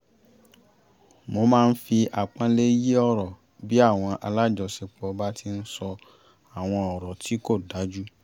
mo máa ń fi àpọ́nlé yí ọ̀rọ̀ bí àwọn alájọṣiṣẹ́pọ̀ bá ti ń sọ àwọn ọ̀rọ̀ tí kò dájú